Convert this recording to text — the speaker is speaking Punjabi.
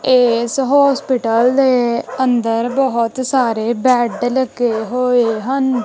ਏਸ ਹੌਸਪੀਟਲ ਦੇ ਅੰਦਰ ਬਹੁਤ ਸਾਰੇ ਬੇਡ ਲੱਗੇ ਹੋਏ ਹਨ।